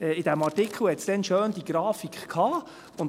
In diesem Artikel war dazu eine schöne Grafik enthalten.